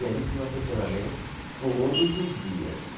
E ali tinham atropelamentos todos os dias.